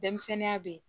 Denmisɛnninya bɛ